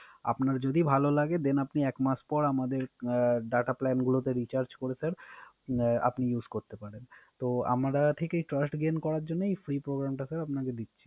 আপনার যদি ভালো লাগে Then আপনি এক মাস পর আমাদের Data Plan গুলোতে Recharge করে Sir আপনি Use করতে পারেন। তো আমরা এই Choice Gane করার জন্যই এই Free Programme টা Sir আপনাকে দিচ্ছি